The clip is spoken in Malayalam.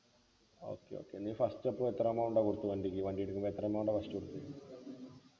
okay okay നീ first അപ്പൊ എത്ര amount ആ കൊടുത്തത് അൻ്റെ ഒരു ഈ വണ്ടി എടുത്തപ്പോ എത്ര amount ആ first കൊടുത്തത്